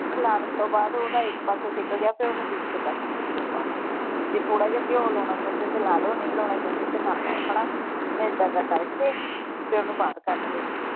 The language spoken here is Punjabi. ਖਲਾਰਣ ਤੋਂ ਬਾਅਦ ਓਹਦਾ ਇਕ ਪਾਸਾ ਸਿਕ ਗਿਆ ਤੇ ਫੇਰ ਓਹਨੂੰ ਦੂਸਰੇ ਪਾਸੇ ਸੇਕ ਲਗਾ ਲੈਣਾ ਜੇ ਥੋੜਾ ਜਾ ਘਿਓ ਲਾਉਣਾ ਚਾਉਂਦੇ ਤਾਂ ਲਾ ਲੋ ਨਹੀਂ ਲਾਉਣਾ ਚਾਹੁੰਦੇ ਤਾਂ ਨਾ ਲਾਓ ਹਣਾ ਹੁਣ ਏਦਾਂ ਦਾ ਕਰਕੇ ਤੇ ਓਹਨੂੰ ਬਾਹਰ ਕੱਢ ਲਿਆ।